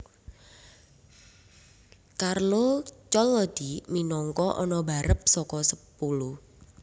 Carlo Collodi minangka ana barep saka sepulu